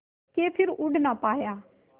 के फिर उड़ ना पाया